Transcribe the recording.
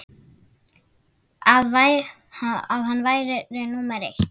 að hann væri númer eitt.